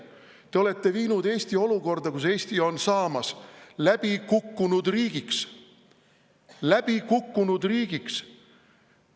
Te olete viinud Eesti olukorda, kus Eesti on saamas läbikukkunud riigiks – läbikukkunud riigiks!